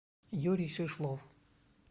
юрий шишлов